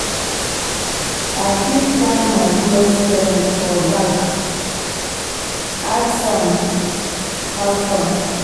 I fit tap my close friend for back ask am how far.